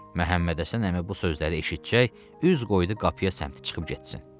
Məhəmməd Həsən əmi bu sözləri eşitcək, üz qoydu qapıya səmtə çıxıb getsin.